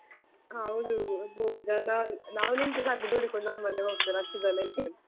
ಹೌದು ಎಬೋ ಜನ ನಾವ್ ನಿಂತ್ರೆ ಸಾಕು ದೂಡಿಕೊಂಡು ನಮ್ಮನ್ನೇ ಹೋಗ್ತಾರೆ ಅಷ್ಟು ಜನ ಇದ್ರು ಧೂಳುಸ ಅವಸ್ತೆ.